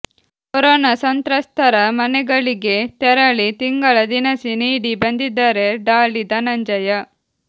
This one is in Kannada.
ಕೊರೋನಾ ಸಂತ್ರಸ್ತರ ಮನೆಗಳಿಗೇ ತೆರಳಿ ತಿಂಗಳ ದಿನಸಿ ನೀಡಿ ಬಂದಿದ್ದಾರೆ ಡಾಲಿ ಧನಂಜಯ